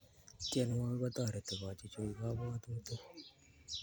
tienwokik kotoreti kochichuch kapwatutik